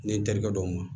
Ne n terikɛ dɔw ma